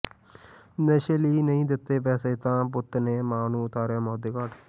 ਨਸ਼ੇ ਲਈ ਨਹੀਂ ਦਿੱਤੇ ਪੈਸੇ ਤਾਂ ਪੁੱਤ ਨੇ ਮਾਂ ਨੂੰ ਉਤਾਰਿਆ ਮੌਤ ਦੇ ਘਾਟ